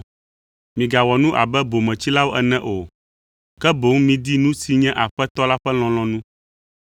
Migawɔ nu abe bometsilawo ene o, ke boŋ midi nu si nye Aƒetɔ la ƒe lɔlɔ̃nu.